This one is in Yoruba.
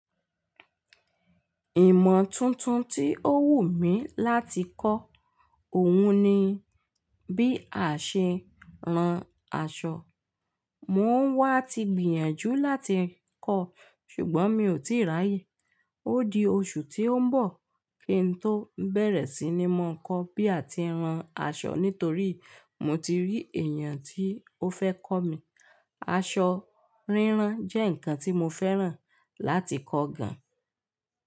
Ìmọ̀ tuntun tí ó wù mí láti kọ́, òun ni bí a ṣe ń ran aṣọ. Mò ń wá ti gbìyànjú láti kọ́, ṣùgbọ́n mi ò tíì ráyè. Ó di oṣù tí ó ń bọ̀, kí n tó bẹ̀rẹ̀ sí ní mọ̀ ọ́n kó bí a ti ń ran aṣọ, nítorí mo ti rí èèyàn tí ó fẹ́ kọ́ mi. Aṣọ ríran jẹ́ nǹkan tí mo fẹ́ràn láti kọ́ gan.